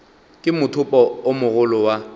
ke mothopo o mogolo wa